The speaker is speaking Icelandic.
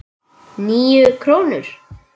Níu krónur?